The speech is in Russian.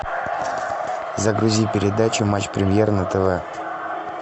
загрузи передачу матч премьер на тв